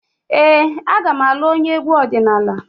Ee, aga m alụ onye egwu ọdịnala.